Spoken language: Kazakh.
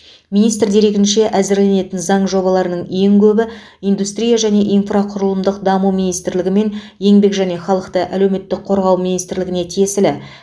министр дерегінше әзірленетін заң жобаларының ең көбі индустрия және инфрақұрылымдық даму министрлігі мен еңбек және халықты әлеуметтік қорғау министрлігіне тиесілі